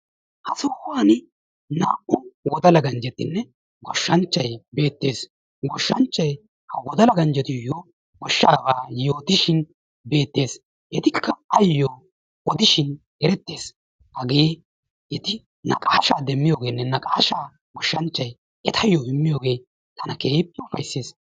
Ha sohuwani naa7u wodala ganjjetinne goshshanchchayi beettes. goshshanchchay wodala. ganjjetuyyo goshshaaba yootishin beettes. Etikka ayyo odishin erettes. Hagee eti naqaashsha demmiyogeenne naqaashsha goshshanchchayi etayyo immiyoogee tana keehippe ufayisses.